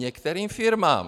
Některým firmám.